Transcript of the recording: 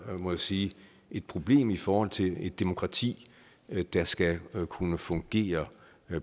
må jeg sige et problem i forhold til et demokrati der skal kunne fungere